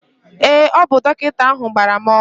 ee, ọ bụ dọkịta ahụ gbara m ọgwụ